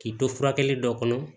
K'i to furakɛli dɔ kɔnɔ